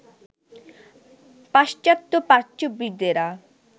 পাশ্চাত্য প্রাচ্যবিদেরা